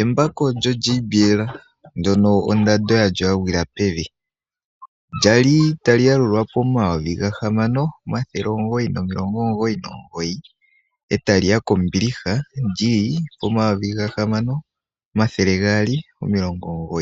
Embako lyo JBL ndono ondando yalyo ya gwila pevi lyali tali yalulwa ko 6999, etali ya pevi lyali ko 6299